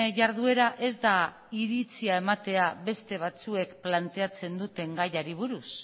jarduera ez da iritzia ematea beste batzuek planteatzen duten gaiari buruz